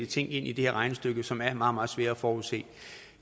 ting ind i det her regnestykke som er meget meget svære at forudse